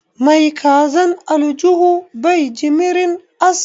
Mai kazan aljuhu bai jimirin ass